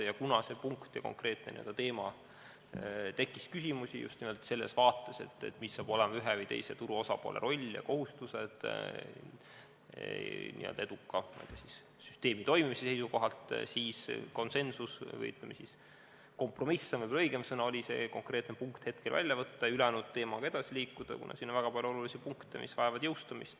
Kuna see punkt ja konkreetne teema tekitas küsimusi just nimelt selles vaates, mis hakkab olema ühe või teise turu osapoole roll ja mis on kohustused eduka süsteemi toimimise seisukohalt, siis konsensus – või, ütleme, kompromiss on võib-olla õigem sõna – oli see konkreetne punkt hetkel välja võtta ja ülejäänud teemaga edasi liikuda, kuna siin on väga palju olulisi punkte, mis vajavad jõustumist.